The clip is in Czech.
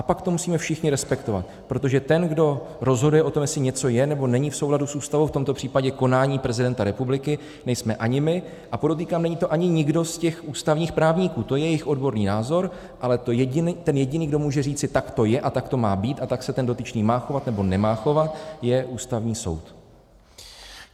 A pak to musíme všichni respektovat, protože ten, kdo rozhoduje o tom, jestli něco je nebo není v souladu s Ústavou, v tomto případě konání prezidenta republiky, nejsme ani my, a podotýkám, není to ani nikdo z těch ústavních právníků, to je jejich odborný názor, ale ten jediný, kdo může říci "tak to je a tak to má být a tak se ten dotyčný má chovat nebo nemá chovat", je Ústavní soud.